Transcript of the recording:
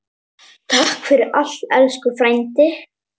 Takk fyrir allt, elsku frændi.